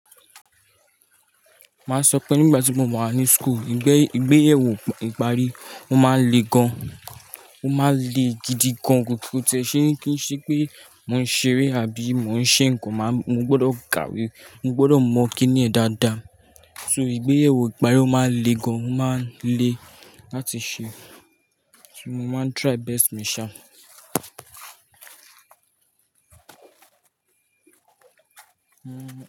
Máa sọ pé nígbà tí mo wà ní school, ìgbé ìgbéyẹwò ìparí ó máa ń le gan, ó máa ń le gidi gan. Kò tí kò tí ẹ ṣi, kí ṣe pé mò ń ṣeré àbí mò ń ṣe nǹkan máa, mo gbọdọ̀ kàwé, mo gbọdọ̀ mọ̀ kíni yẹ dáadáa. So ìgbéyẹwò ìparí ó máa ń le gan, ó máa ń le láti ṣe. So mo máa ń try best mi ṣa.